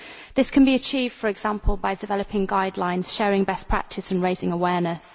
This can be achieved for example by developing guidelines, sharing best practice, and raising awareness.